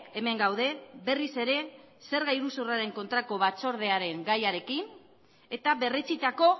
hemen gaude berriz ere zerga iruzurraren kontrako batzordearen gaiarekin eta berretsitako